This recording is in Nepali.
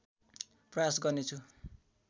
प्रयास गर्नेछु